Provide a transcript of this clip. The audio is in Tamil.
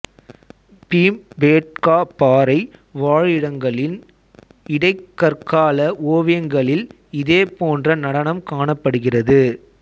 பீம்பேட்கா பாறை வாழிடங்களின் இடைக் கற்கால ஓவியங்களில் இதே போன்ற நடனம் காணப்படுகிறது